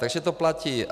Takže to platí.